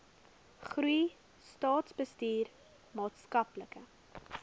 goeie staatsbestuur maatskaplike